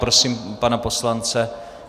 Prosím pana poslance.